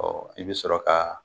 i bɛ sɔrɔ ka